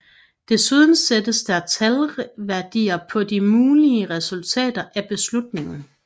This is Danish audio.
Desuden sættes der talværdier på de mulige resultater af beslutningen